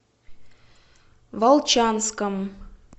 волчанском